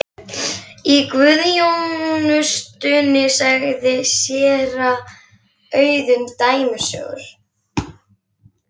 Í guðsþjónustunni sagði séra Auðunn dæmisögur.